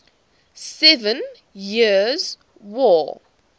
seven years war